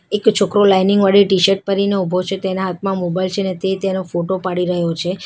એક છોકરો લાઇનિંગ વાડી ટી_શર્ટ પેરીને ઉભો છે તેના હાથમાં મોબાઈલ છે ને તે તેનો ફોટો પાડી રહ્યો છે.